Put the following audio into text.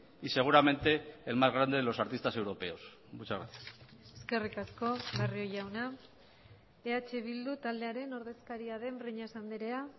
y seguramente el más grande de los artistas europeos muchas gracias eskerrik asko barrio jauna eh bildu taldearen ordezkaria den breñas andrea